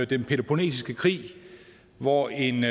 den peloponnesiske krig hvor en